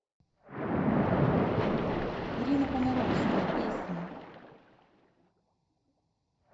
ирина понаровская песни